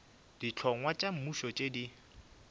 dihlongwa tša mmušo tše di